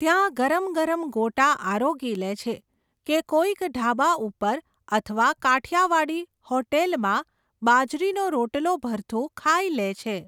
ત્યાં ગરમ ગરમ ગોટા આરોગી લેછે, કે કોઈક ઢાબા ઉપર અથવા કાઠિયાવાડી હોટેલમાં બાજરીનો રોટલો ભરથું ખાઈ લેછે.